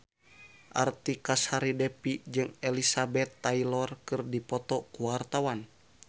Artika Sari Devi jeung Elizabeth Taylor keur dipoto ku wartawan